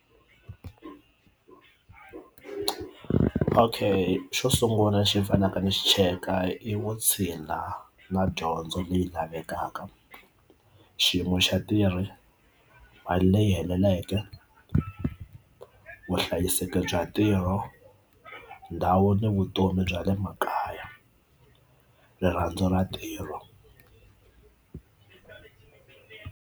Okay xo sungula lexi fanaka ni xi cheka i vo china na dyondzo leyi lavekaka xiyimo xa tirhi mali leyi heleleke vuhlayiseki bya ntirho ndhawu ni vutomi bya le makaya rirhandzu ra ntirho.